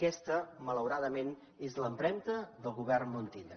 aquesta malauradament és l’empremta del govern montilla